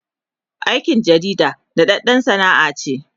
aikin jarida daɗaɗɗan Sana'a ce